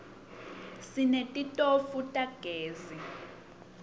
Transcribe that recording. sinetitofu tagezi